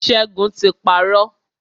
Ṣẹ́gun ti parọ́.